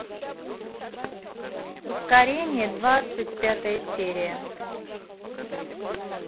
ускорение двадцать пятая серия